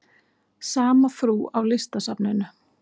Sama frú á Listasafninu?